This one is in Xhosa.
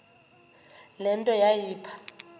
le nto yayipha